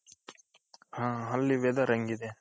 ಹ ಅಲ್ಲಿ weather ಹೆಂಗಿದೆ?